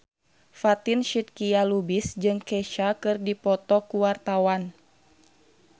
Fatin Shidqia Lubis jeung Kesha keur dipoto ku wartawan